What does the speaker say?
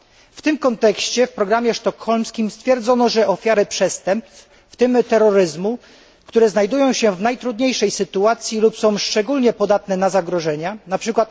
W tym kontekście w programie sztokholmskim stwierdzono, że ofiary przestępstw, w tym terroryzmu, które znajdują się w najtrudniejszej sytuacji lub są szczególnie podatne na zagrożenia np.